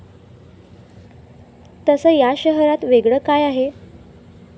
तसं या शहरात वेगळं काय आहे?